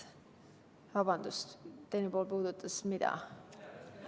Vabandust, mida teine pool puudutas?